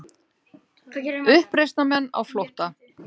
Uppreisnarmenn á flótta